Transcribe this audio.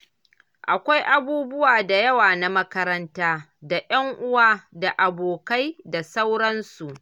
Akwai abubuwa da yawa na makaranta da 'yan'uwa da abokai da sauransu.